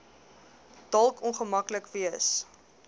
dalk ongemaklik wees